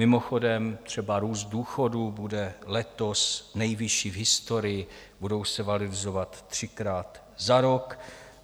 Mimochodem, třeba růst důchodů bude letos nejvyšší v historii, budou se valorizovat třikrát za rok.